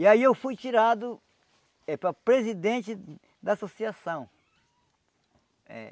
E aí eu fui tirado eh para presidente da associação eh